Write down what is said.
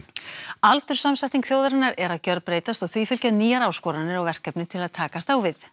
aldurssamsetning þjóðarinnar er að gjörbreytast og því fylgja nýjar áskoranir og verkefni til að takast á við